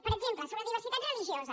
per exemple sobre diversitat religiosa